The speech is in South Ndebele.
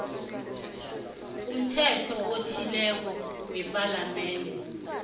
umthetho othileko wepalamende